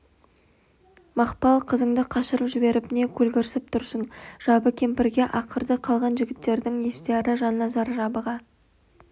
мақпал қызыңды қашырып жіберіп не көлгірсіп тұрсың жабы кемпірге ақырды қалған жігіттердің естияры жанназар жабыға